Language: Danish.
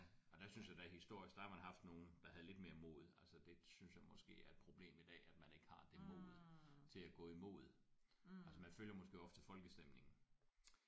Men der synes jeg da historisk der har man haft nogen der havde lidt mere mod altså det synes jeg måske er et problem i dag at man ikke har det mod til at gå imod altså man følger måske ofte folkestemningen